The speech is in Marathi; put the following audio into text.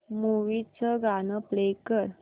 मूवी चं गाणं प्ले कर